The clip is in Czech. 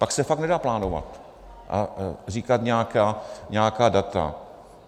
Pak se fakt nedá plánovat a říkat nějaká data.